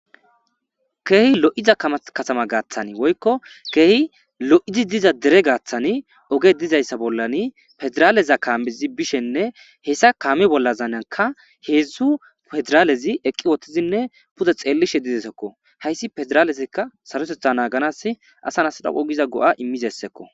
Keehi lo7iza katama gaaththani woykko keehi lo'zi diza dere gaathani oge dizayssa bollani federaaleza kaammizi bishenne hessa kaami bollazaynanka heedzdzu pedraalezi eqqi wottizinne pude xeellishe dizesekko hayssi pederaalezikka sarosetha naaganas asan asdhaqu giza go7a immizessekko.